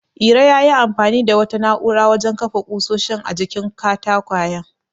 Iro yayi amfani da wata na'urar wajen kafa ƙusoshin a jikin katakwayen.